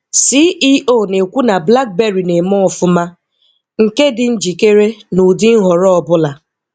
CEO na-ekwu na Blackberry na-eme ọfụma, nke dị njikere n'udi nhọrọ ọbụla